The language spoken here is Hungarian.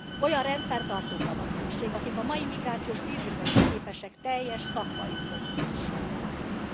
Olyan rendfenntartókra van szükség, akik a mai migrációs krízisben is képesek teljes szakmai profizmussal fellépni.